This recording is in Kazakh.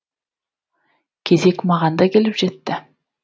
кезек маған да келіп жетті